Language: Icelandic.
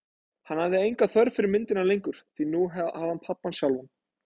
Hann hafði enga þörf fyrir myndina lengur, því nú hafði hann pabba sjálfan.